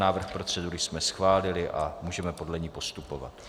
Návrh procedury jsme schválili a můžeme podle ní postupovat.